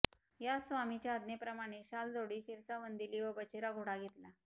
यास स्वामीचे आज्ञेप्रमाणें शालजोडी शिरसा वंदिली व बचेरा घोडा घेतला